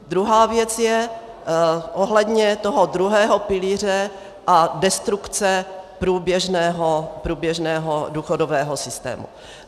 Druhá věc je ohledně toho druhého pilíře a destrukce průběžného důchodového systému.